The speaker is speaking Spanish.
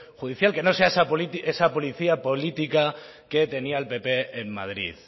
judicial que no sea esa policía política que tenía el pp en madrid